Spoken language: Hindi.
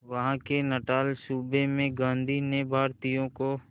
वहां के नटाल सूबे में गांधी ने भारतीयों को